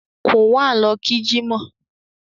Quwan lọ kí jímọ̀